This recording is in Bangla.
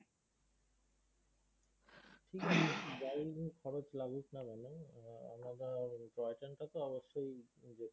যাই খরছ লাগুক না কেন আহ আলাদা আহ টয় ট্রেন টা তো অবশ্যই